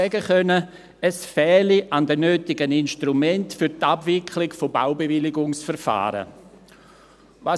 Ich konnte noch sagen, dass es an den nötigen Instrumenten für die Abwicklung von Baubewilligungsverfahren fehle.